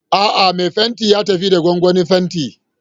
A'a, mai fenti ya tafi da gwangwanin fenti.